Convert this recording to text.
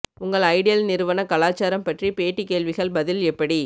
உங்கள் ஐடியல் நிறுவன கலாச்சாரம் பற்றி பேட்டி கேள்விகள் பதில் எப்படி